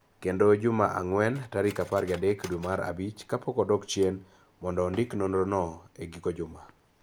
kendo juma ang�wen, tarik apar gi adek dwe mar abich kapok odok chien mondo ondik nonrono e giko juma.